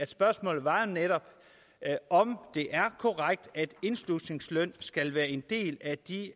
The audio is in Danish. spørgsmålet var jo netop om det er korrekt at indslusningsløn skal være en del af de